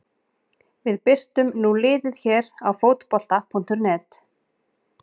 Við birtum nú liðið hér á Fótbolta.net.